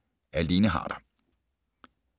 Af Lene Harder